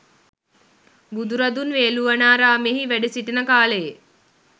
බුදුරදුන් වේළුවනාරාමයෙහි වැඩ සිටින කාලයේ